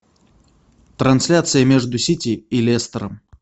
трансляция между сити и лестером